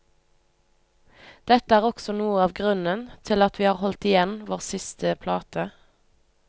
Dette er også noe av grunnen til at vi har holdt igjen vår siste plate.